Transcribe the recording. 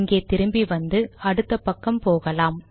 இங்கே திரும்பி வந்து அடுத்த பக்கம் போகலாம்